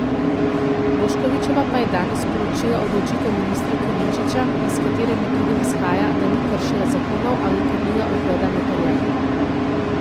Boškovićeva pa je danes sporočila odločitev ministra Klemenčiča, iz katere med drugim izhaja, da ni kršila zakonov ali krnila ugleda notariata.